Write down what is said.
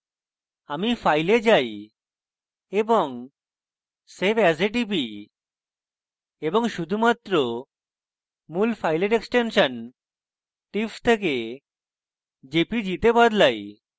আমি file এ যাই এবং save as এ টিপি এবং শুধুমাত্র মূল file এক্সটেনশন tif থেকে jpg তে বদলাই